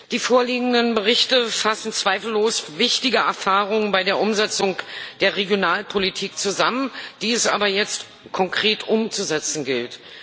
Die vorliegenden Berichte fassen zweifellos wichtige Erfahrungen bei der Umsetzung der Regionalpolitik zusammen, die es aber jetzt konkret umzusetzen gilt.